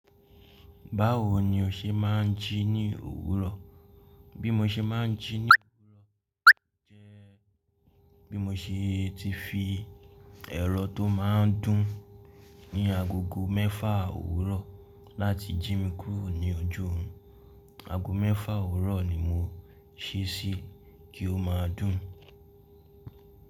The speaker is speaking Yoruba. Báwo ni o ṣe máà ń jí ní òwúrọ̀? Bí mo ṣe máà ń jí ní òwúrọ̀ jẹ́ bí mo ṣe ti fi ẹ̀rọ tó máa ń dún ní agogo mẹ́fà òwúrọ̀ láti jí mi kúrò ní oju oorun. Aago mẹ́fà òwúrọ̀ ni mo sé e si kí o máa dún.